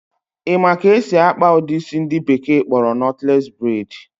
Ị ma ka esi akpa ụdị isi ndị bekee kpọrọ nọtles braid?